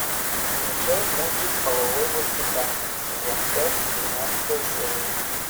включай мультик половое воспитание сезон пять двенадцатая серия